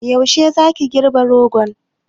Yaushe za ki girɓi rogon?